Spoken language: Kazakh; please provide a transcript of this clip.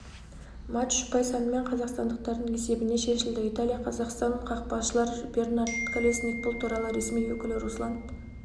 матч ұпай санымен қазақстандықтардың есебіне шешілді италия қазақстан қақпашылар бернард колесник бұл туралы ресми өкілі руслан